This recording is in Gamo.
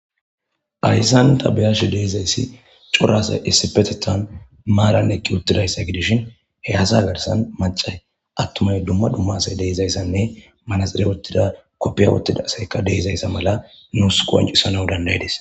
ayssan tabeyashi deeizayssi curasa issipetethan maaran ekki uttidayssa gidishin he haza garsan macay attumay dumma dumma asay deizayssanne manaxire wuttida koppiya wottida asayka deizayssa mala nuus qoncisana dandaydis